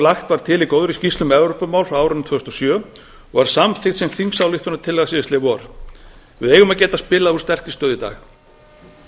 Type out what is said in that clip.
lagt var til í góðri skýrslu um evrópumál frá árinu tvö þúsund og sjö og er samþykkt sem þingsályktunartillaga síðastliðið vor við eigum að geta spilað úr sterkri stöðu í dag